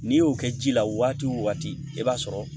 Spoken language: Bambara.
N'i y'o kɛ ji la waati o waati i b'a sɔrɔ